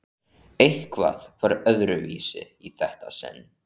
Eitthvað var öðruvísi í þetta sinn.